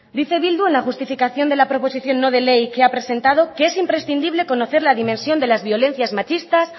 dice bildu en la justificación de la proposición no de ley que ha presentado que es imprescindible conocer la dimensión de las violencias machistas